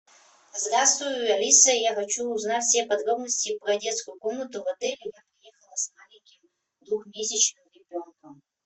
здравствуй алиса я хочу узнать все подробноси про детскую комнату в отеле я приехала с маленьким двухмесячным ребенком